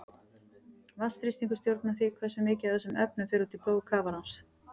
Vatnsþrýstingur stjórnar því hversu mikið af þessum efnum fer út í blóð kafarans.